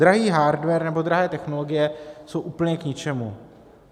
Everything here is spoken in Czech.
Drahý hardware nebo drahé technologie jsou úplně k ničemu.